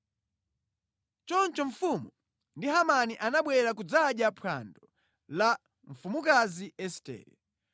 Choncho mfumu ndi Hamani anabwera kudzadya phwando la mfumukazi Estere.